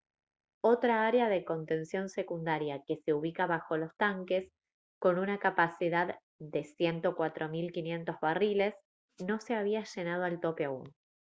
otra área de contención secundaria que se ubica bajo los tanques con una capacidad de 104 500 barriles no se había llenado al tope aún